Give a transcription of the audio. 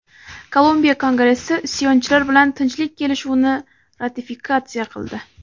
Kolumbiya kongressi isyonchilar bilan tinchlik kelishuvini ratifikatsiya qildi.